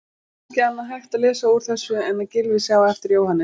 Ekki annað hægt að lesa úr þessu en að Gylfi sjái eftir Jóhannesi.